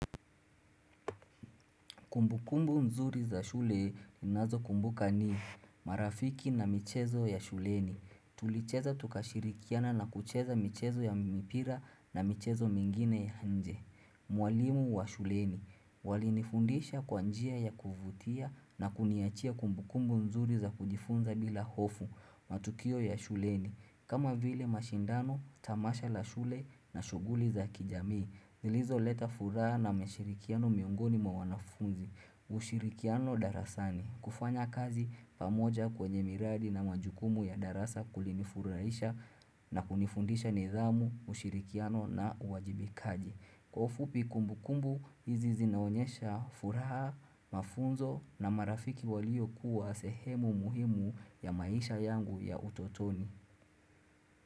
Kumbukumbu mzuri za shule ninazokumbuka ni marafiki na michezo ya shuleni. Tulicheza tukashirikiana na kucheza michezo ya mipira na michezo mingine ya nje. Mwalimu wa shuleni. Walinifundisha kwa njia ya kuvutia na kuniachia kumbukumbu mzuri za kujifunza bila hofu matukio ya shuleni. Kama vile mashindano, tamasha la shule na shughuli za kijamii, zilizoleta furaha na mashirikiano mwingoni mwa wanafunzi, ushirikiano darasani, kufanya kazi pamoja kwenye miradi na majukumu ya darasa kulinifurahisha na kunifundisha nidhamu, ushirikiano na uwajibikaji. Kwa ufupi kumbukumbu, hizi zinaonyesha furaha, mafunzo na marafiki waliokuwa sehemu muhimu ya maisha yangu ya utotoni.